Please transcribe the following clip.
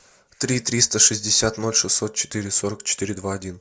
три триста шестьдесят ноль шестьсот четыре сорок четыре два один